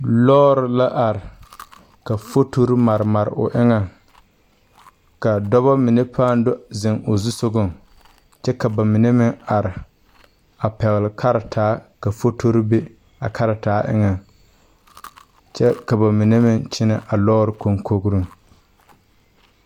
Lɔɔre la are ka fotori mare mare o eŋɛŋ ka dɔba mine pãâ do zeŋ o zusogaŋ kyɛ ka ba mine meŋ are a pɛgle kartaa ka fotori be a kartaa eŋɛŋ kyɛ ka ba mine meŋ kyɛnɛ a lɔɔre konkogriŋ.